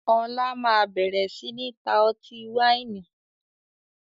Ọlá máa bẹ̀rẹ̀ sini ta ọtí wáìnì